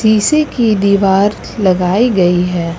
शीशे की दीवार लगाई गई है।